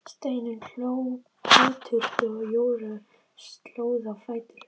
Steinunn hló biturt og Jóra stóð á fætur.